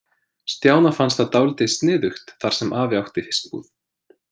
Stjána fannst það dálítið sniðugt þar sem afi átti fiskbúð.